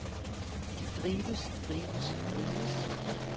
drives drives drives